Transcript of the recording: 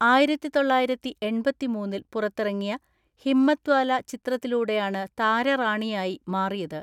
ആയിരത്തിതൊള്ളയിരത്തിഎൺപത്തിമൂന്നിൽ പുറത്തിറങ്ങിയ ഹിമ്മത്വാല ചിത്രത്തിലൂടെയാണ് താരറാണിയായി മാറിയത്.